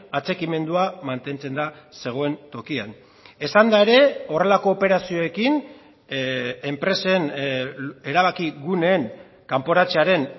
atxikimendua mantentzen da zegoen tokian esan da ere horrelako operazioekin enpresen erabaki guneen kanporatzearen